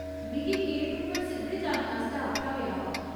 मिगी गेट उप्पर सिद्धे जाने आस्तै आखेआ गेआ हा।